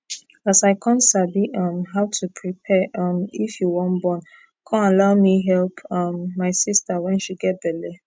as i con sabi um how to prepare um if you wan born con allow me help um my sister wen she get belle